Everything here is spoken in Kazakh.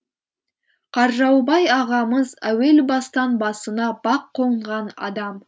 қаржаубай ағамыз әуел бастан басына бақ конған адам